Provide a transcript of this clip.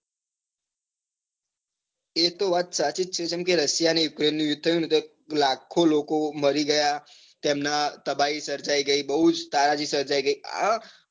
એ તો વાત સાચી જ છે જેમ કે રશિયા ને યક્રેન નું યુદ્ધ થયું ને તો લાખો લોકો મરી ગયા તેમના તબાહી સર્જાઈ ગઈ બહુ જ તારાજી સર્જાઈ ગઈ આ